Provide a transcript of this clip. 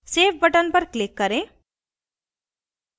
save button पर click करें